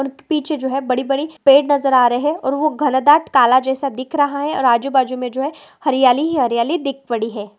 पीछे जो है बडी बडी पेड़ नजर आ रही है और ओ घनदाट काला जैसा दिख रहा है और आजु बाजु मे जो है हरयाली ही हरयाली दिख पडी है।